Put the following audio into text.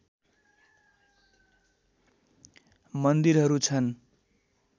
मन्दिरहरू छन्